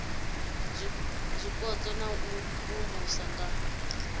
zwipotso na u imvumvusa nga